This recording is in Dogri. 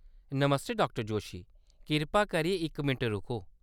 नमस्ते, डा जोशी। कृपा करियै इक मिंट रुको।